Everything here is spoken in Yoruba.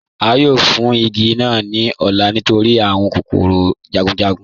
A yóò fún igi naa ní ọ̀lá nítorí awọn kòkòrò jagunjagun